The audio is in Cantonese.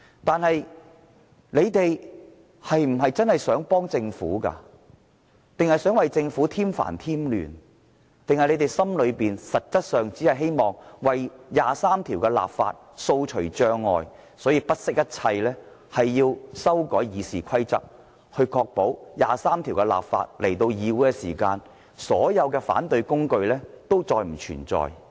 但是，建制派是否真的想幫助政府，還是想為政府添煩添亂，還是他們心中實質上只希望為《基本法》第二十三條立法掃除障礙，所以不惜一切要修訂《議事規則》，確保《基本法》第二十三條立法的議案提交議會時，所有反對工具都再不存在。